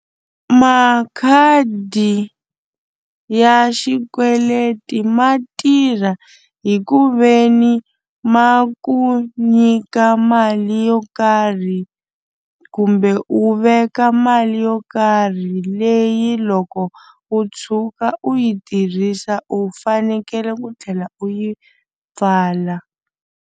Makhadi ya xikweleti ma tirha hi ku ve ni ma ku nyika mali yo karhi kumbe u veka mali yo karhi leyi loko u tshuka u yi tirhisa u fanekele ku tlhela u yi pfala.